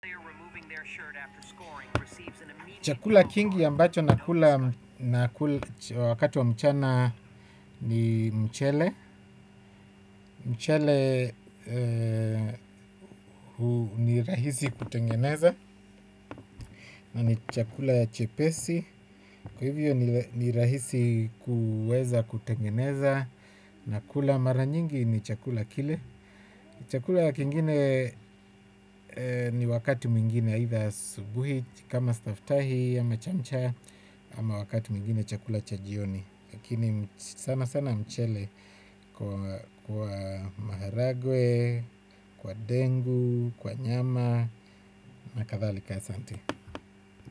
Chakula kingi ambacho nakula wakati wa mchana ni mchele. Mchele ni rahisi kutengeneza na ni chakula chepesi. Kwa hivyo ni rahisi kuweza kutengeneza. Nakula mara nyingi ni chakula kile. Chakula kingine ni wakati mwingine hitha subuhi kama stafitahi ama chamcha ama wakati mwingine chakula cha jioni lakini sana sana mchele kwa maharagwe kwa dengu kwa nyama na kathalika asanti.